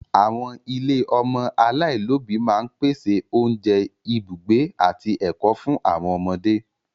Àwọn ilé ọmọ aláìlóbìí máa ń pèsè oúnjẹ, ibùgbé, àti ẹ̀kọ́ fún àwọn ọmọdé.